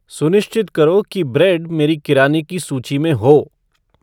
सुनिश्चित करो कि ब्रेड मेरी किराने की सूची में हो